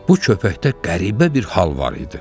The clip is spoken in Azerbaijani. Bu köpəkdə qəribə bir hal var idi.